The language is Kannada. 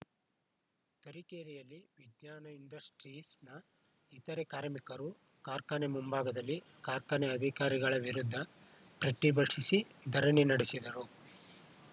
ತರೀಕೆರೆಯಲ್ಲಿ ವಿಜ್ಞಾನ ಇಂಡಸ್ಟ್ರೀಸ್‌ನ ಇತರೇ ಕಾರ್ಮಿಕರು ಕಾರ್ಖಾನೆ ಮುಂಭಾಗದಲ್ಲಿ ಕಾರ್ಖಾನೆ ಅಧಿಕಾರಿಗಳ ವಿರುದ್ಧ ಪ್ರತಿಭಟಿಸಿ ಧರಣಿ ನಡೆಸಿದರು